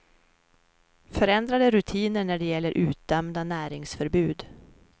Förändrade rutiner när det gäller utdömda näringsförbud.